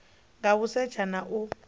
nga u setsha na u